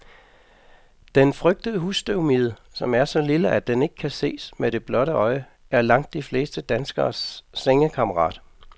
Den frygtede husstøvmide, som er så lille, at den ikke kan ses med det blotte øje, er langt de fleste danskeres sengekammerat.